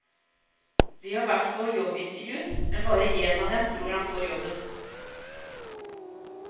De har vært på jobbintervju, men bare én av dem tror han får jobben.